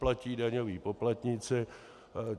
Platí daňoví poplatníci.